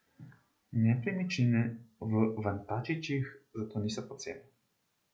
Nepremičnine v Vantačićih zato niso poceni.